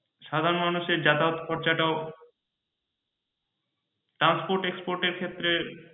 সাধারণ মানুষের যাতায়াত খরচা টাও transport export এর ক্ষেত্রে